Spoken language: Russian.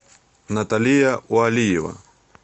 наталия уалиева